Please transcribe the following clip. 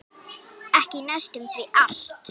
Ekki næstum því allt.